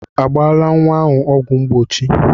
A gbala nwa ahụ ọgwụ mgbochi?